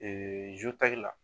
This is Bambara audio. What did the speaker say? Ee